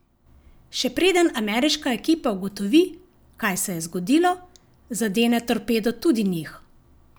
Še preden ameriška ekipa ugotovi, kaj se je zgodilo, zadene torpedo tudi njih.